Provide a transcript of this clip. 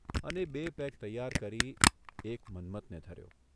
અને બે પેગ તૈયાર કરી એક મન્મથને ધર્યો.